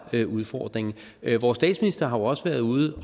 udfordringen vores statsminister har jo også været ude